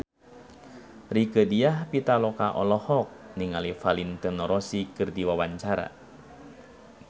Rieke Diah Pitaloka olohok ningali Valentino Rossi keur diwawancara